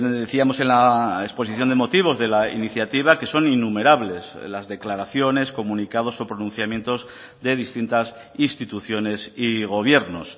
decíamos en la exposición de motivos de la iniciativa que son innumerables las declaraciones comunicados o pronunciamientos de distintas instituciones y gobiernos